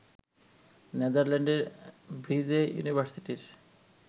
নেদারল্যান্ডের Vrije ইউনিভার্সিটির